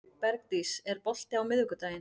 Bergdís, er bolti á miðvikudaginn?